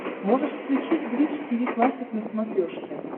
можешь включить бридж тиви классик на смотрешке